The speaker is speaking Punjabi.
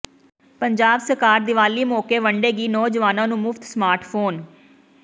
ਪੰਜਾਬ ਸਰਕਾਰ ਦੀਵਾਲੀ ਮੌਕੇ ਵੰਡੇਗੀ ਨੌਜਵਾਨਾਂ ਨੂੰ ਮੁਫ਼ਤ ਸਮਾਰਟ ਫ਼ੋਨ